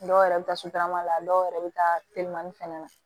Dɔw yɛrɛ bɛ taa sotarama la dɔw yɛrɛ bɛ taa telima fana na